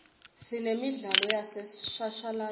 sinemidlalo yaseshashalatini